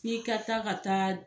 I ka taa ka taa